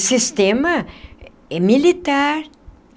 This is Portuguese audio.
E sistema militar.